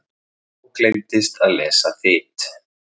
Þá gleymdist að lesa Þyt.